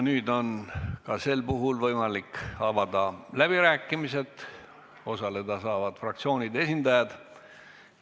Nüüd on taas võimalik avada läbirääkimised, osaleda saavad fraktsioonide esindajad.